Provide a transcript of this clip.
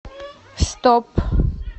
стоп